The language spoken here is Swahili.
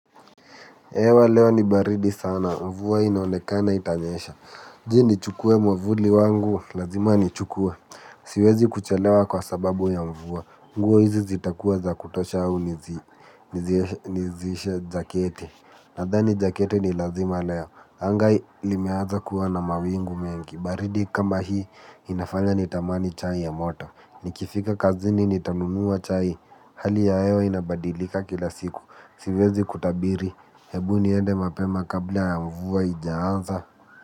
Hewa leo ni baridi sana, mvua inaonekana itanyesha. Sijui nichukue mwavuli wangu, lazima nichukue. Siwezi kuchelewa kwa sababu ya mvua. Nguo hizi zitakuwa za kutosha au niziishe jaketi. Nadhani jaketi ni lazima leo. Anga hii limeanza kuwa na mawingu mengi. Baridi kama hii, inafanya nitamani chai ya moto. Nikifika kazini, nitanunua chai. Hali ya hewa inabadilika kila siku. Siwezi kutabiri, hebu niende mapema kabla ya mvua haijaanza.